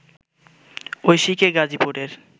ঐশীকে গাজীপুরের